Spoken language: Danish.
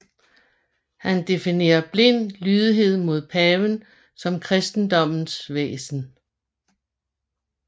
Han definerede blind lydighed mod paven som kristendommens væsen